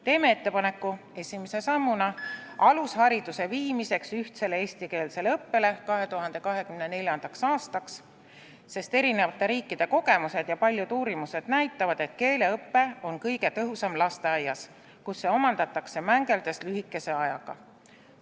Teeme ettepaneku esimese sammuna viia alusharidus üle ühtsele eestikeelsele õppele 2024. aastaks, sest eri riikide kogemused ja paljud uurimused näitavad, et keeleõpe on kõige tõhusam lasteaias, kus keel omandatakse mängeldes lühikese ajaga.